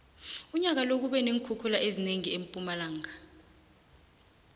unyaka lo kube neenkhukhula ezinengi empumalanga